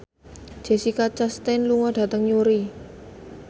Jessica Chastain lunga dhateng Newry